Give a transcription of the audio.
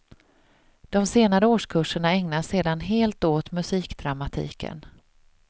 De senare årskurserna ägnas sedan helt åt musikdramatiken.